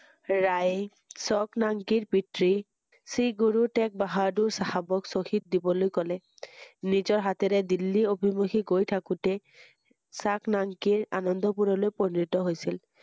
ৰাই চক নাংকিৰ পিতৃ শ্ৰী গুৰু টেগ বাহাদুৰ চাহাবক শ্বহীদ দিবলৈ ক‘লে নিজৰ হাতেৰে দিল্লী অভীমূখী গৈ থাকোতে চক নাংকিৰ আনন্দ পুৰলৈ পঞ্জীয়ন হৈছিল ৷